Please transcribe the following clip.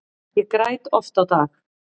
Ég græt oft á dag.